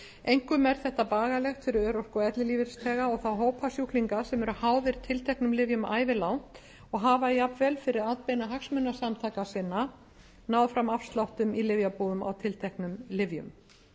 einkum er þetta bagalegt fyrir örorku og ellilífeyrisþega og þá hópa sjúklinga sem eru háðir tilteknum lyfjum ævilangt og hafa jafnvel fyrir atbeina hagsmunasamtaka sinna náð fram afsláttum í lyfjabúðum á tilteknum lyfjum